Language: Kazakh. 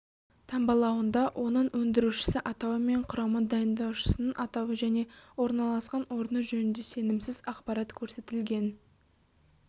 таңбалауында оның өндірушісі атауы мен құрамы дайындаушының атауы және орналасқан орны жөнінде сенімсіз ақпарат көрсетілген